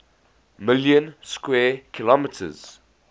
million square kilometers